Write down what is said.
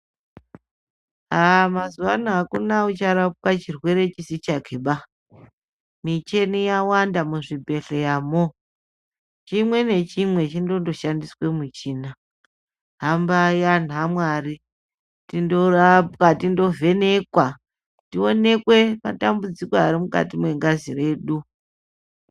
Aaa mazuwa ano hakuna ucharapwa chirwere chisi chakeba. Michini yawanda muzvhibhedhleyamo. Chimwe nechimwe chindondoshandiswe muchina. Hambai anhu aMwari tindorapwa, tindovhenekwa. Tionekwe matambudziko ari mukati mwengazi yedu.